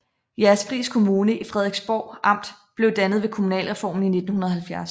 Jægerspris Kommune i Frederiksborg Amt blev dannet ved kommunalreformen i 1970